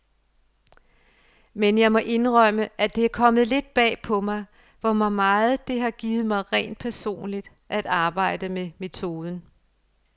Men jeg må indrømme, at det er kommet lidt bag på mig, hvor meget det har givet mig rent personligt at arbejde med metoden.